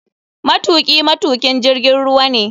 Matuki matukin jirgin ruwa ne.